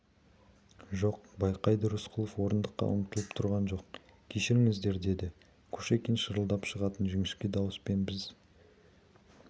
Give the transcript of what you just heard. жоқ байқайды рысқұлов орындыққа ұмтылып тұрған жоқ кешіріңіздер деді кушекин шырылдап шығатын жіңішке дауыспен біз